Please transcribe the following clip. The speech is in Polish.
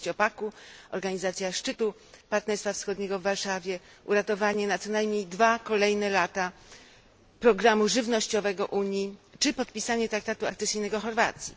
sześciopaku, organizacja szczytu Partnerstwa Wschodniego w Warszawie, uratowanie na co najmniej dwa kolejne lata programu żywnościowego Unii czy podpisanie traktatu akcesyjnego Chorwacji.